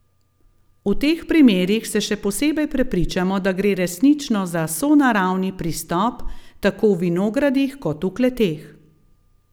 V teh primerih se še posebej prepričamo, da gre resnično za sonaravni pristop tako v vinogradih kot v kleteh.